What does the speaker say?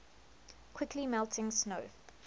quickly melting snow